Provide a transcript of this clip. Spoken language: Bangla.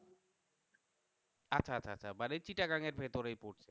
আচ্ছা আচ্ছা আচ্ছা মানে চিটাগাং এর ভিতরেই পড়ছে